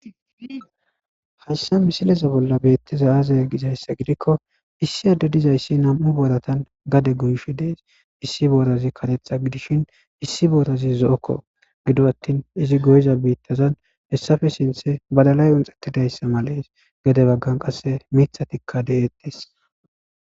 Haysa misileza bolla beettiza aze gizayssa gidikko issi adde dizayssi nam7u booratan gade goyshi dees issi boorazi katexa gidishin issi boorazi zo'okko gido attin izi goyza biittazan hessafe sinthe badalay unxettidayssa malees gade baggan qasse mithatikka de'tes.